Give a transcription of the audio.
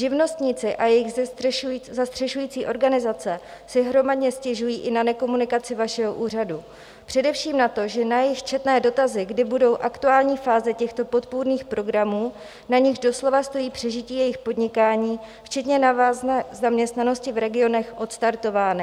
Živnostníci a jejich zastřešující organizace si hromadně stěžují i na nekomunikaci vašeho úřadu, především na to, že na jejich četné dotazy, kdy budou aktuální fáze těchto podpůrných programů, na nichž doslova stojí přežití jejich podnikání včetně návazné zaměstnanosti v regionech, odstartovány.